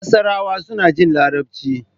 Masarawa suna jin Larabci.